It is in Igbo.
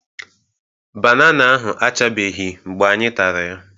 Banana ahụ achabeghị mgbe anyị tara ya